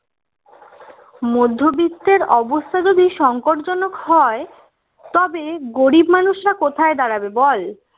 মধ্যবিত্তের অবস্থা যদি সঙ্কটজনক হয় তবে গরিব মানুষরা কোথায় দাঁড়াবে বল